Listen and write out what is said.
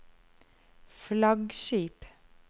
flaggskip